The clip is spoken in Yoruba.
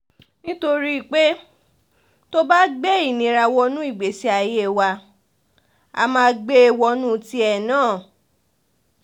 nítorí pé tó o bá gbé ìnira wọnú ìgbésí ayé wa á máa gbé e wọnú tìẹ náà